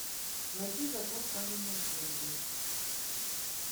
найти закон каменных джунглей